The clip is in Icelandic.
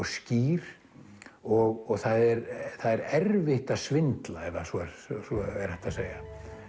skýr og það er það er erfitt að svindla ef svo er svo er hægt að segja